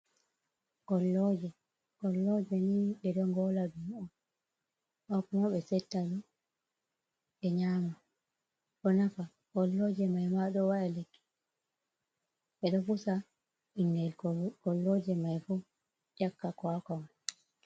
Golloje, golloje ni ɓeɗo gola ɗum on, amma ɓe settadow ɓe nyama bo nafa golloje mai ma ɗo wa’aɗa lekki ɓeɗo pusa ɓingel golloje mai fu nyakka kwakwa man.